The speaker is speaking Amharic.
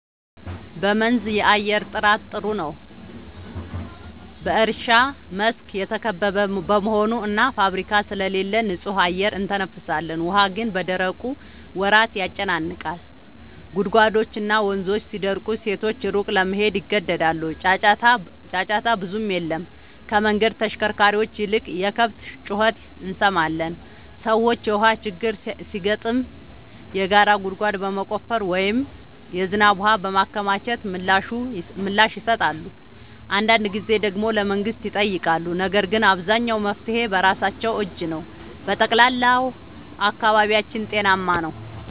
በመንዝ የአየር ጥራት ጥሩ ነው፤ በእርሻ መስክ የተከበበ በመሆኑ እና ፋብሪካ ስለሌለ ንጹህ አየር እንተነፍሳለን። ውሃ ግን በደረቁ ወራት ያጨናንቃል፤ ጉድጓድና ወንዞች ሲደርቁ ሴቶች ሩቅ ለመሄድ ይገደዳሉ። ጫጫታ ብዙም የለም፤ ከመንገድ ተሽከርካሪዎች ይልቅ የከብት ጩኸት እንሰማለን። ሰዎች የውሃ ችግር ሲገጥም የጋራ ጉድጓድ በመቆፈር ወይም የዝናብ ውሃ በማከማቸት ምላሽ ይሰጣሉ። አንዳንድ ጊዜ ደግሞ ለመንግሥት ይጠይቃሉ፤ ነገር ግን አብዛኛው መፍትሔ በራሳቸው እጅ ነው። በጠቅላላው አካባቢያችን ጤናማ ነው።